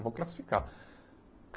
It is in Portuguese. Vou classificar.